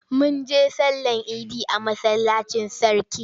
Mun je sallama idi a masallacin sarki.